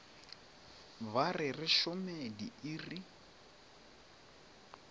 ba re re šome diiri